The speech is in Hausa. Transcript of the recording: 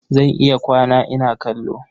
Zan iya kwana ina kallo.